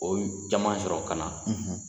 O caman sɔrɔ ka na.